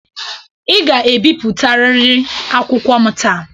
Ị ga-ebipụtarịrị akwụkwọ m taa.